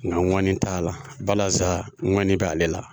Nga ngɔni t'ala balaza ngɔni b'ale la